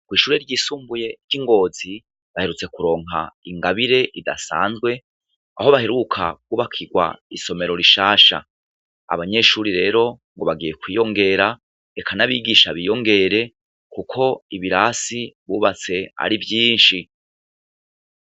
Kw'ishure ry'isumbuye ry'Ingozi baherutse kuronka ingabire idasanzwe, aho baheruka kubakirwa isomero rishasha .Abanyeshuri rero ngo bagiye kwiyongera eka n'abigisha biyongere kuko ibirasi bubatse ari vyinshi.